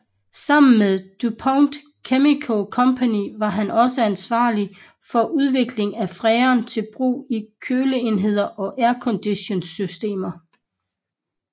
Sammen med DuPont Chemical Company var han også ansvarlig for udviklingen af freon til brug i køleenheder og airconditionsystemer